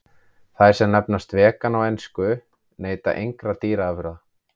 Þær sem nefnast vegan á ensku neyta engra dýraafurða.